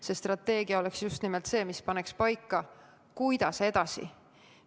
See strateegia oleks just nimelt see, mis paneks paika, kuidas edasi.